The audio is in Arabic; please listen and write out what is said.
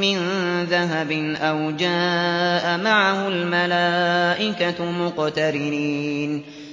مِّن ذَهَبٍ أَوْ جَاءَ مَعَهُ الْمَلَائِكَةُ مُقْتَرِنِينَ